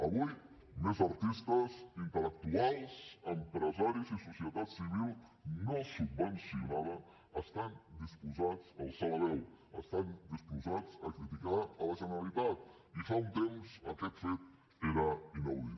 avui més artistes intel·lectuals empresaris i societat civil no subvencionada estan disposats a alçar la veu estan disposats a criticar la generalitat i fa un temps aquest fet era inaudit